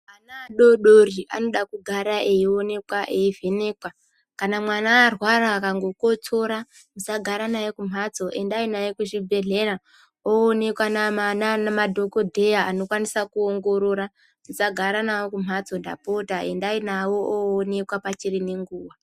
Ana adoodori anoda kugara eionekwa eivhenekwa. Kana mwana arwara akangokotsora musagare naye kumhatso, endai naye kuchibhedhlera oonekwa ngemadhokodheya anokwanisa kuongorora. Musagare nawo kumhatso ndapota, endai nawo oonekwa pachine nguwa.